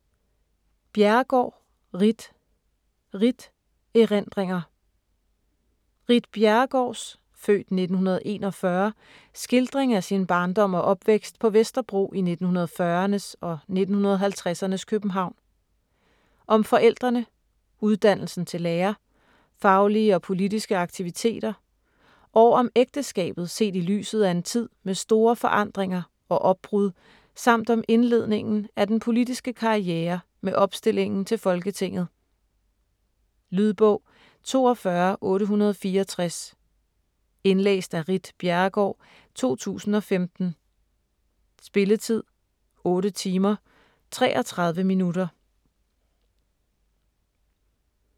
Bjerregaard, Ritt: Ritt: erindringer Ritt Bjerregaards (f. 1941) skildring af sin barndom og opvækst på Vesterbro i 1940'ernes og 1950'ernes København. Om forældrene, uddannelsen til lærer, faglige og politiske aktiviteter og om ægteskabet set i lyset af en tid med store forandringer og opbrud samt om indledningen af den politiske karriere med opstillingen til Folketinget. Lydbog 42864 Indlæst af Ritt Bjerregaard, 2015. Spilletid: 8 timer, 33 minutter.